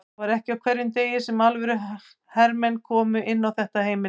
Það var ekki á hverjum degi sem alvöru hermenn komu inn á þetta heimili.